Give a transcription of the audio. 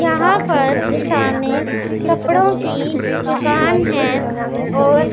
यहां पर सामने कपड़ों की दुकान है और--